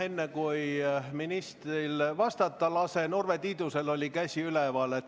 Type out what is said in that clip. Enne, kui ministril vastata lasen, oli Urve Tiidusel käsi üleval.